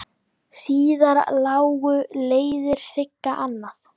Síðar lágu leiðir Sigga annað.